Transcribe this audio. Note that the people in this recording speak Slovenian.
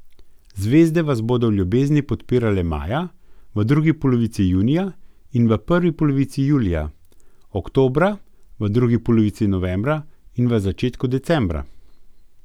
Ta Ivančič Fajfarjeva označuje za likovno in domišljijsko interpretirane fragmente sredozemske pokrajine.